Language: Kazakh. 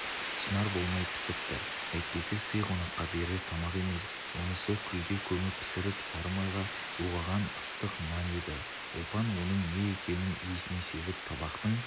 шынар болмай пісіртті әйтпесе сый қонаққа берер тамақ емес онысы күлге көміп пісіріп сары майға бұлғаған ыстық нан еді ұлпан оның не екенін иісінен сезіп табақтың